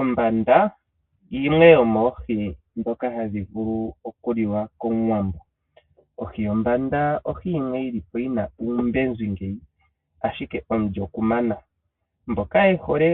Ombanda yimwe yomoohi ndhoka hadhi vulu okuliwa kOmuwambo. Ohi yombanda ohi yimwe yi li po yi na oombenzi, ihe omulyo ku mana. Mboka ye hole